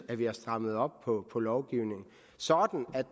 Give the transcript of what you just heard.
at vi har strammet op på på lovgivningen så